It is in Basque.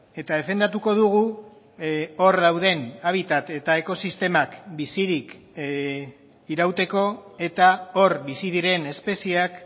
eta defendatuko dugu hor dauden habitat eta ekosistemak bizirik irauteko eta hor bizi diren espeziak